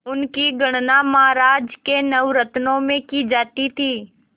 उनकी गणना महाराज के नवरत्नों में की जाती थी